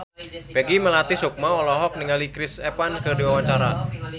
Peggy Melati Sukma olohok ningali Chris Evans keur diwawancara